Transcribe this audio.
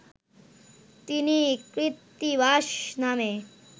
তিনি কৃত্তিবাস নামে